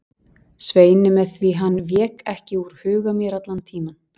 Sveini með því hann vék ekki úr huga mér allan tímann.